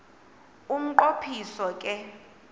umnqo phiso ke